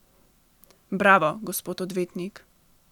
Bravo, gospod odvetnik.